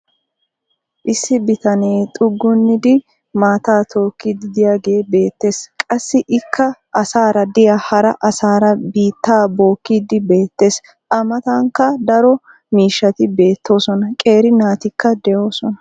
Issi bitanee xuggunnidi maataa tokiidi diyaagee beetees. Qassi ikka asaara diya hara asaara biitaa bookiidi beetees. A matankka daro miishshati beetoosona. Qeeri naatikka doosona.